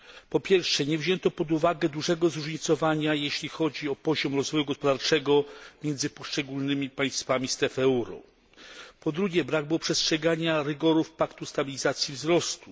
Po pierwsze, nie wzięto pod uwagę dużego zróżnicowania, jeśli chodzi o poziom rozwoju gospodarczego w poszczególnych państwach strefy euro. Po drugie, brak było przestrzegania rygorów paktu stabilizacji i wzrostu.